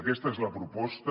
aquesta és la proposta